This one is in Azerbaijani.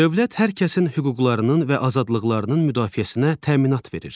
Dövlət hər kəsin hüquqlarının və azadlıqlarının müdafiəsinə təminat verir.